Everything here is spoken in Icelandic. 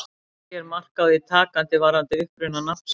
Ekki er mark á því takandi varðandi uppruna nafnsins.